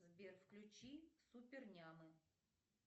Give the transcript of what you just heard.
сбер включи супер няма